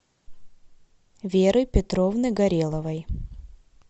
веры петровны гореловой